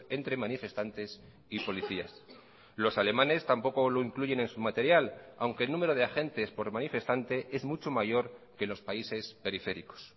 entre manifestantes y policías los alemanes tampoco lo incluyen en su material aunque el número de agentes por manifestante es mucho mayor que los países periféricos